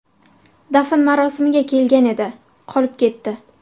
Dafn marosimiga kelgan edi, qolib ketdi.